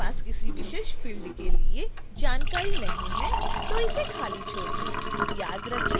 यदि आपके पास किसी विशेष फ़िल्ड के लिए जानकारी नहीं है तो इसे खाली छोड़ दें